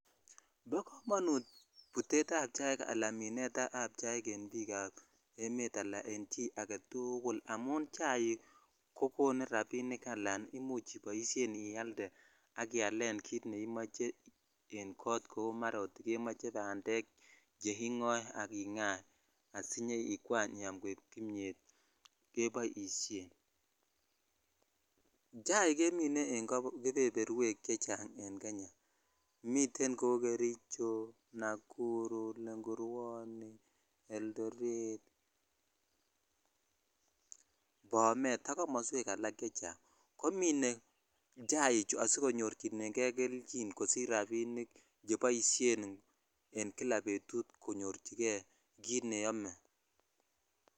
Bo komonut butetown ab chaik ala minet ab chaiken bik ab emet ala en jii agetukul amun chaik kokonu rabinik ala imuch ialde ak ialenkit neimoche in kot mara chmoche bandek che kingoe ak ingaa asiyoikwany . Chaik kemine an keberberwek cheng miten ko kericho ,nakuru ,lengurwoni eldoret bomet ak komoswek alak chechang komine chaichu sikonyorchikei kelchin kosich rabinik cheiboishen en kila betut konyorchikei kit neome.